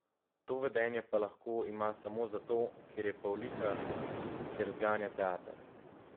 To vedenje pa lahko ima samo zato, ker je pavliha, ker zganja teater.